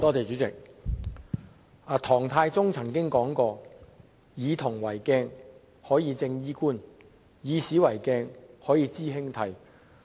主席，唐太宗曾經說過，"夫以銅為鏡，可以正衣冠；以古為鏡，可以知興替"。